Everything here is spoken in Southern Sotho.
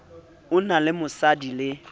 o na le mosadi le